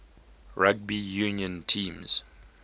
rugby union teams